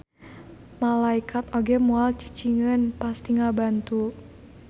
Malaekat oge moal cicingeun pasti ngabantu.